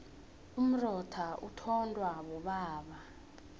umrotha uthondwa bobaba